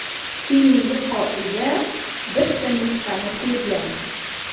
Keyingi qoida – bitta nuqtani ko‘zlang.